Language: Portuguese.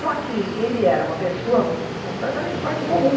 Só que ele era uma pessoa completamente fora do comum.